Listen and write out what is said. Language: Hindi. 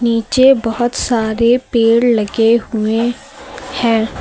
पीछे बहोत सारे पेड़ लगे हुए हैं।